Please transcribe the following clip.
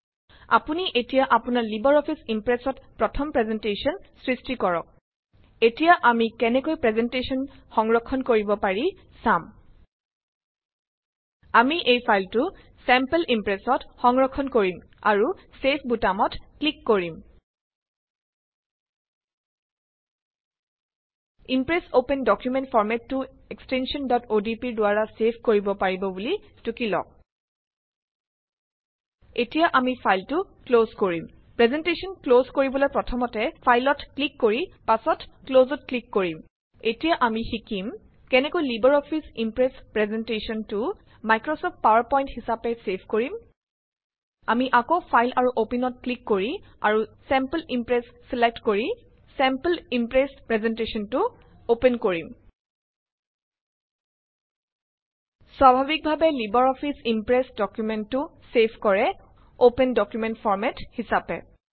আপুনি এতিয়া আপোনাৰ লিবাৰ অফিচ ইম্প্ৰেচত প্ৰথম প্ৰেজেনটেশ্যন সৃষ্টি কৰিলে। এতিয়া আমি কেনেকৈ প্ৰেজেনটেশ্যন সংৰক্ষণ কৰিব পাৰি চাম। চেভডায়লগ বক্সটো খুলিব। আমি এই ফাইলটোত ছেম্পল ইম্প্ৰেচ সংৰক্ষণ কৰিম আৰু চেভ বুটামত ক্লিক কৰিম। ইম্প্ৰেচ অপেন ডকুমেন্ট ফৰমেটটো এক্সটেনচন odp ৰ দ্বাৰা চেভ কৰিব পাৰিব বুলি টুকিলওঁক। এতিয়া আমি ফাইলটো ক্লজ কৰিম। প্ৰেজেনটেশ্যন ক্লজ কৰিবলৈ প্ৰথমে ফাইলত ক্লিক কৰি পাছত ক্লজত ক্লিক কৰিম। এতিয়া আমি শিকিম কেনেকৈ libre office impress প্ৰেজেন্টেশ্যনটো Microsoft power point হিচাপে চেভ কৰিম। আমি আকৌ ফাইল আৰু অপেনত ক্লিক কৰি আৰু ছেমপুল ইম্প্ৰেচ চিলেক্ট কৰি চেমপুল ইম্প্ৰেচপ্ৰেজেন্টশ্যনটো অপেন কৰিম। স্বাভাৱিকভাৱে লিবাৰ অফিচ ইম্প্ৰেচ ডকুমেন্টটো চেভ কৰে অপেন ডকুমেন্ট ফৰমাত হিচাপে